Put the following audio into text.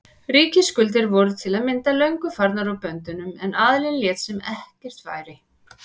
Ríkisskuldir voru til að mynda löngu farnar úr böndunum en aðallinn lét sem ekkert væri.